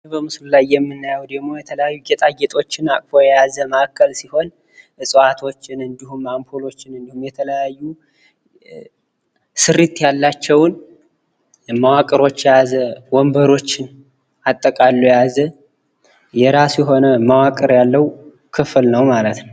በምስሉ ላይ የምንመለከተው በቤት ውስጥ የሚገኝ ጌጣጌጥ የያዘ ነው ። እፅዋቶችን ፣መብራቶችን ስሪት ያላቸውን የያዘ ፣ወንበሮችን የያዘ የራሱ የሆነ መዋቅር ያለው ክፍል ነው ማለት ነው ።